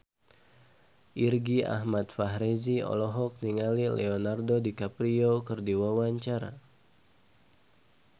Irgi Ahmad Fahrezi olohok ningali Leonardo DiCaprio keur diwawancara